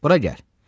Bura gəl.